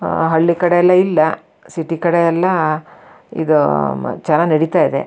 ಆಹ್ಹ್ ಹಳ್ಳಿ ಕಡೆ ಎಲ್ಲ ಇಲ್ಲ ಸಿಟಿ ಕಡೆ ಎಲ್ಲ ಇದು ಚೆನ್ನಾಗಿ ನಡೀತಾ ಇದೆ.